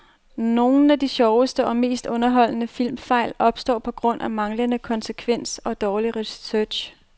Nogle af de sjoveste og mest underholdende filmfejl opstår på grund af manglende konsekvens og dårlig research.